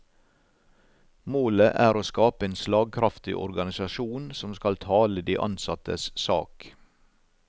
Målet er å skape en slagkraftig organisasjon som skal tale de ansattes sak.